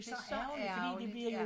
Det så ærgerligt ja